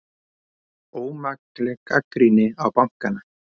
Ómakleg gagnrýni á bankana